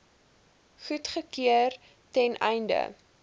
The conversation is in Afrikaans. goedgekeur ten einde